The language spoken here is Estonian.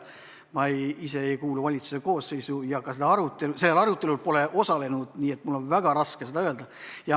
Ma ise ei kuulu valitsuse koosseisu ja ka sellel arutelul pole osalenud, nii et mul on väga raske seda öelda.